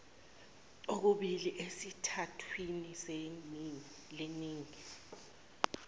okubili esithathwini leningi